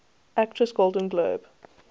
actress golden globe